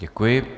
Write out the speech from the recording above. Děkuji.